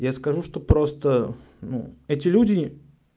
я скажу что просто ну эти люди